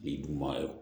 Ni dun ma ye